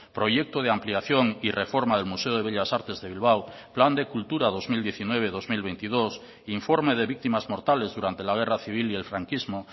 proyecto de ampliación y reforma del museo de bellas artes de bilbao plan de cultura dos mil diecinueve dos mil veintidós informe de víctimas mortales durante la guerra civil y el franquismo